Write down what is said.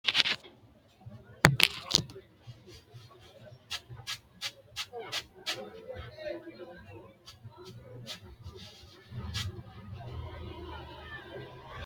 Konne ikkino daafo, konni xawishshi bitimira qummi assininte gede tenne malaatta babbaxxitinonna horo uyi- tanno akatta garunninna hasiisanno akatinni horoonsi’ra sokka rahotenni sayisatenna sumuu yaate ha’rinshora lowo kaa’lo noote.